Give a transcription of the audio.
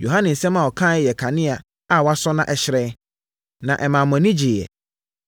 Yohane nsɛm a ɔkaeɛ yɛ kanea a wɔasɔ na ɛhyerɛn, na ɛmaa mo ani gyeeɛ.